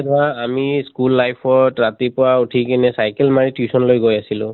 আমি school life ত ৰাতিপুৱা উঠি কিনে cycle মাৰি tuition লৈ গৈ আছিলোঁ।